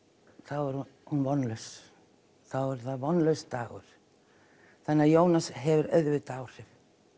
er hún vonlaus þá er það vonlaus dagur þannig Jónas hefur auðvitað áhrif